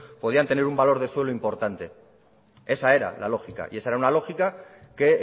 podrían tener un valor de suelo importante esa era la lógica y esa era una lógica que